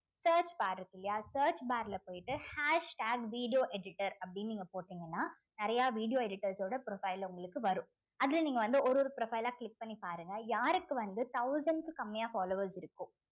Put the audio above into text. search bar இருக்கு இல்லையா search bar ல போயிட்டு hashtag video editor அப்படீன்னு நீங்க போட்டீங்கன்னா நிறைய video editors ஓட profile உங்களுக்கு வரும் அதுல நீங்க வந்து ஒரு ஒரு profile ஆ click பண்ணி பாருங்க யாருக்கு வந்து thousand க்கு கம்மியா followers இருக்கோ